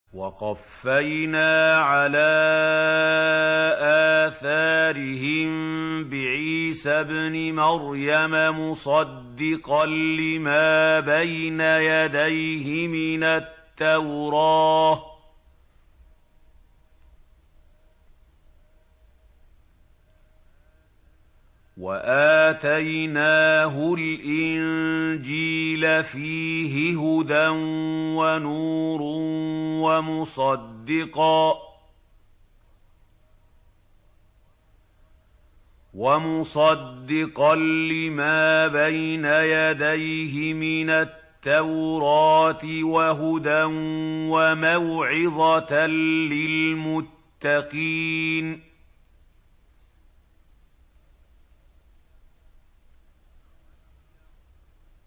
وَقَفَّيْنَا عَلَىٰ آثَارِهِم بِعِيسَى ابْنِ مَرْيَمَ مُصَدِّقًا لِّمَا بَيْنَ يَدَيْهِ مِنَ التَّوْرَاةِ ۖ وَآتَيْنَاهُ الْإِنجِيلَ فِيهِ هُدًى وَنُورٌ وَمُصَدِّقًا لِّمَا بَيْنَ يَدَيْهِ مِنَ التَّوْرَاةِ وَهُدًى وَمَوْعِظَةً لِّلْمُتَّقِينَ